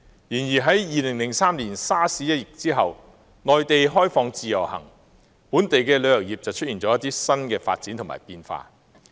然而，在2003年沙士一役後，內地開放自由行，本地旅遊業便出現了一些新發展和變化。